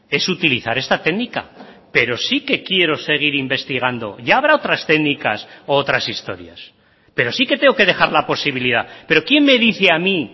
es utilizar esta técnica pero sí que quiero seguir investigando ya habrá otras técnicas u otras historias pero sí que tengo que dejar la posibilidad pero quién me dice a mí